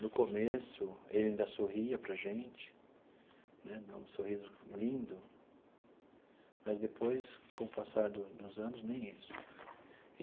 No começo, ele ainda sorria para a gente né, dava um sorriso lindo, mas depois, com o passar do dos anos, nem isso.